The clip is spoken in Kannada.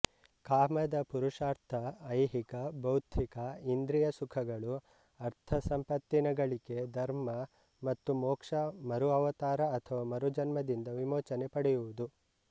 ಕಾಮದಪುರುಷಾರ್ಥಐಹಿಕಭೌತಿಕಇಂದ್ರಿಯ ಸುಖಗಳು ಅರ್ಥಸಂಪತ್ತಿನ ಗಳಿಕೆ ಧರ್ಮ ಮತ್ತು ಮೋಕ್ಷ ಮರುಅವತಾರಅಥವಾ ಮರುಜನ್ಮದಿಂದ ವಿಮೋಚನೆ ಪಡೆಯುವುದು